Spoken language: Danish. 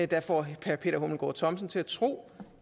der får herre peter hummelgaard thomsen til at tro